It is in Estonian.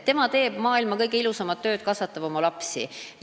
Tema teeb maailma kõige ilusamat tööd: kasvatab oma lapsi.